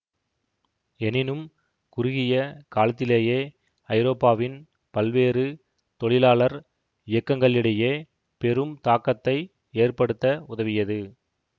எனினும் குறுகிய காலத்திலேயே ஐரோப்பாவின் பல்வேறு தொழிலாளர் இயக்கங்களிடையே பெரும் தாக்கத்தை ஏற்படுத்த உதவியது